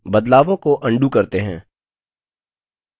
बदलावों को अन्डू करते हैं